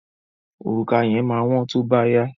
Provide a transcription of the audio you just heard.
Òrùka yẹn máa wọ́n tó bá yá.